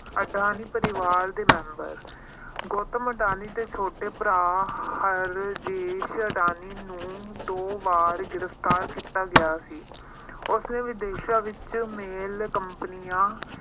ਅਡਾਨੀ ਪਰਿਵਾਰ ਦੇ member, ਗੌਤਮ ਅਡਾਨੀ ਦੇ ਛੋਟੇ ਭਰਾ, ਰਾਜੇਸ਼ ਅਡਾਨੀ ਨੂੰ ਦੋ ਵਾਰ ਗ੍ਰਿਫ਼ਤਾਰ ਕੀਤਾ ਗਿਆ ਸੀ। ਉਸਨੇ ਵਿਦੇਸ਼ਾਂ ਵਿੱਚ mail companies